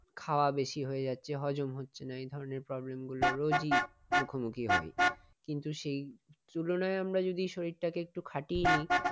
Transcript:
খাওয়া বেশি হয়ে যাচ্ছে হজম হচ্ছে না এ ধরনের problem গুলো রোজই মুখোমুখি হই। কিন্তু সেই তুলনায় আমরা যদি শরীরটাকে একটু কাটিয়ে নেই।